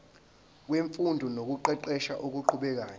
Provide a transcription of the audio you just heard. wemfundo nokuqeqesha okuqhubekayo